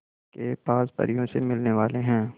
के पास परियों से मिलने वाले हैं